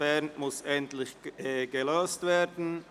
Bern muss endlich gelöst werden».